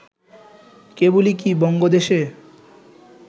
কেবলই কি বঙ্গদেশে